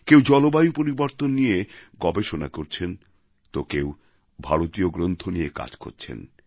কেউ জলবায়ু পরিবর্তন নিয়ে গবেষণা করছেন তো কেউ ভারতীয় গ্রন্থ নিয়ে কাজ করছেন